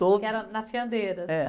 Que era na Fiandeira..